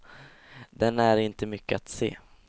Den är inte mycket att se.